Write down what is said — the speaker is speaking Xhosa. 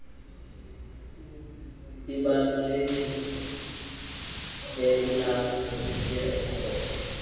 ibalulekile ekulawuleni iirekhodi